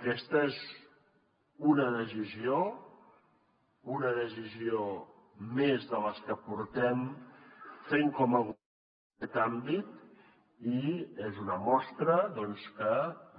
aquesta és una decisió una decisió més de les que portem fent com a govern en aquest àmbit i és una mostra doncs que